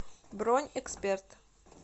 бронь эксперт